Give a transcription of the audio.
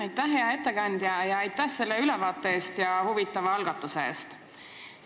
Aitäh, hea ettekandja, selle ülevaate ja huvitava algatuse eest!